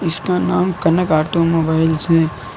इसका नाम Kanak auto mobiles है।